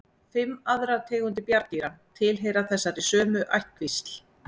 Fimm aðrar tegundir bjarndýra tilheyra þessari sömu ættkvísl.